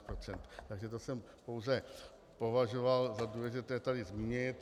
Takže to jsem pouze považoval za důležité tady zmínit.